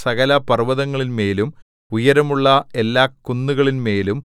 സകലപർവ്വതങ്ങളിന്മേലും ഉയരമുള്ള എല്ലാ കുന്നുകളിന്മേലും